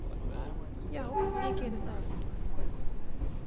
Já, ég geri það.